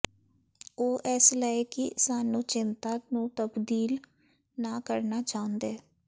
ਉਹ ਇਸ ਲਈ ਕਿ ਸਾਨੂੰ ਚਿੰਤਾ ਨੂੰ ਤਬਦੀਲ ਨਾ ਕਰਨਾ ਚਾਹੁੰਦੇ